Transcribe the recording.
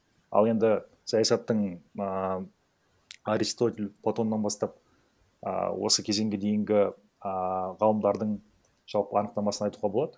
ал енді саясаттың ааа аристотель платоннан бастап ааа осы кезеңге дейінгі ааа ғалымдардың жалпы анықтамасын айтуға болады